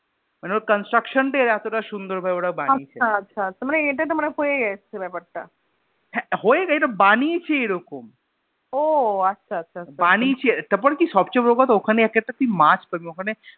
মানে ওরে construction তা এত টা সুন্দর ভাবে বানিয়েছে আচ্ছা আচ্ছা মানে ইটা তো মানে হয়ে এসেছে ব্যাপার টা হা হয়েছে না বানিয়েছে এরকম ও আচ্ছা আচ্ছা বানিয়েছে তার পর কি সব চে বড়ো কথা ওখানে তুই একটা মাছ পাবি